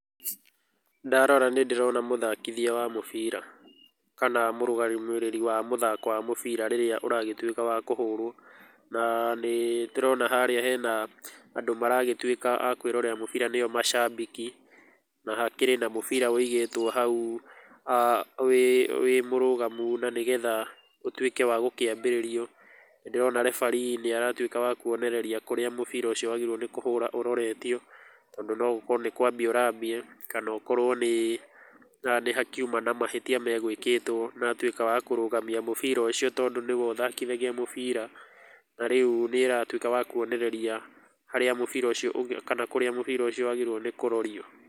Ndarora nĩndĩrona mũthakithia wa mũbira, kana mũrũgamĩrĩri wa mũthako wa mũbira rĩrĩa ũragĩtuĩka wa kũhũrwo. Na nĩtũrona harĩa hena andũ maragĩtuĩka a kwĩrorera mũbira nĩo macambiki, na hakĩrĩ na mũbira wĩigĩtwo hau wĩmũrũgamu na nĩgetha ũtuĩke wa gũkĩambĩrĩrio. Nĩndĩrona referee nĩaratuĩka wa kuonereria kũrĩa mũbira ũcio wagĩrĩirwo kũhũra ũroretio, tondũ no gũkorwo nĩ kwambia ũrambia, kana okorwo nĩĩ haha nĩhakiuma na mahĩtia megwĩkĩtwo na atuĩka wa kũrũgamia mũbira ũcio tondũ nĩwe ũthakithagia mũbira, na rĩu nĩaratuĩka wa kuonereria harĩa mũbira ũcio kana kũrĩa mũbĩra ũcio wagĩrĩirwo nĩ kũrorio.